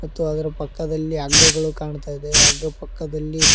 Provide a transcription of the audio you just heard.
ಮತ್ತು ಅದರ ಪಕ್ಕದಲ್ಲಿ ಹಗ್ಗಗಳು ಕಾಣ್ತಾ ಇದೆ ಹಗ್ಗ ಪಕ್ಕದಲ್ಲಿ--